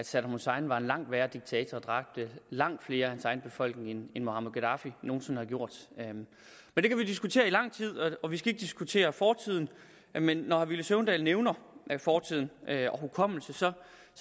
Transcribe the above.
at saddam hussein var en langt værre diktator og dræbte langt flere af sin egen befolkning end muammar gaddafi nogen sinde har gjort men det kan vi diskutere i lang tid og vi skal ikke diskutere fortiden men når herre villy søvndal nævner fortid og hukommelse